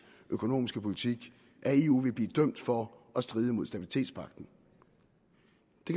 økonomiske politik af eu vil blive dømt for at stride mod stabilitetspagten